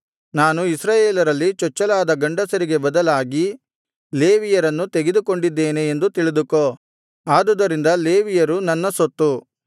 ನಾನು ಇಸ್ರಾಯೇಲರಲ್ಲಿ ಚೊಚ್ಚಲಾದ ಗಂಡಸರಿಗೆ ಬದಲಾಗಿ ಲೇವಿಯರನ್ನು ತೆಗೆದುಕೊಂಡಿದ್ದೇನೆ ಎಂದು ತಿಳಿದುಕೋ ಆದುದರಿಂದ ಲೇವಿಯರು ನನ್ನ ಸೊತ್ತು